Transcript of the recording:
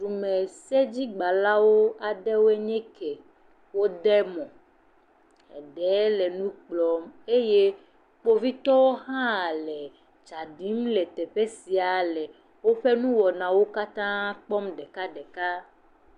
Dumesedzigbãlawo aɖewo nye kɛ wode mɔ. Eɖe le nu kplɔm eye kpovitɔ hã le tsa ɖim le teƒe sia le woƒe nuwɔnawo katã kpɔm ɖekaɖeka.